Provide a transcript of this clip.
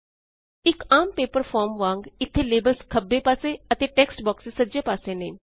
ਇਕ ਆਮ paper form ਵਾੰਗ ਇੱਥੇ ਲੇਬਲਸ ਖੱਬੇ ਪਾਸੇ ਅਤੇ ਟੇਕਸਟ ਬੌਕਸੇਜ਼ ਸੱਜੇ ਪਾਸੇ ਨੇ